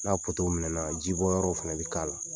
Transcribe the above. N'a potow minnɛna jibɔ yɔrɔw fana bɛ k'a la